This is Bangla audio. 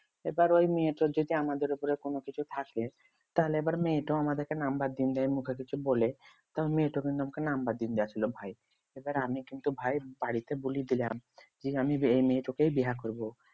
এবার ওই মেয়েটা যদি আমাদের উপর কোন কিছু থাকে তাহলে এবার মেয়েটা ও আমাদেরকে number দিনদেয় মুখে কিছু বলে তো মেয়েটা কিন্তু আমাকে number দিন দিয়েছিল ভাই এবার আমি কিন্তু ভাই বাড়িতে বলে দিলাম। যে আমি এই মেয়েতোকে বিয়ে করবো।